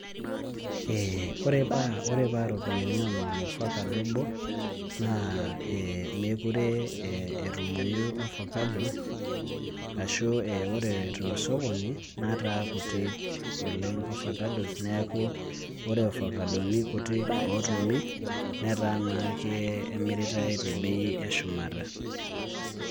Ee ore paa iropiyiani onom orfakado obo, naa meeku eetumoyu ofakado ashu ore tosokoni netaa kuti oleng' ofakados neeku ore ofakadoni nikutik ootumi netaa naa kemiritai tebei eshumata.